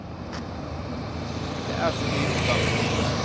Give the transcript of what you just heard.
Det er så mye på gang.